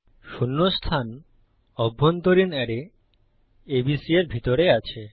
শূন্য স্থান অভ্যন্তরীণ অ্যারে ABC এর ভিতরে আছে